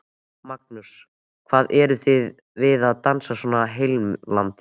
Magnús: Hvað er það við dansinn sem er svona heillandi?